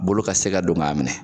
Bolo ka se ka don ga minɛ